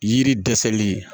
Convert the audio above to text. Yiri dɛsɛli